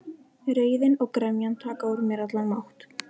Reiðin og gremjan taka úr mér allan mátt.